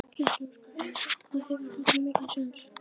Gísli Óskarsson: Hvað hefur hann þá mikinn séns?